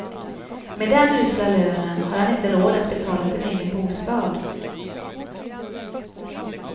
Med den usla lönen har han inte råd att betala sin egen bostad.